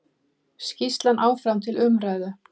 Skýrslan áfram til umræðu